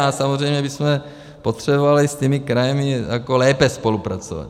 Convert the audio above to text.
A samozřejmě bychom potřebovali s těmi kraji lépe spolupracovat.